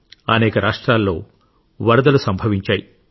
అనేక రాష్ట్రాల్లో వరదలు సంభవించాయి